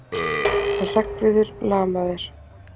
Hann Hreggviður lamaður!